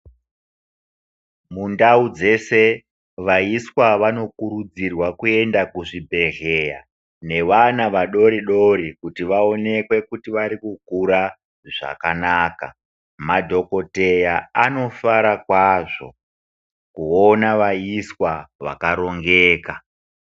Mundau dzese vaiswa vanokurudzirwa kuende kuzvibhedhleya nevana vadoridori kuti vaoneke kuti varikukura zvakanaka. Madhogodheya anofara kwazvo kuona vaiswa vakarongeka.